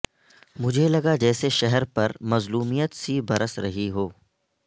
مجھے لگا جیسے شہر پرمظلومیت سی برس رہی ہو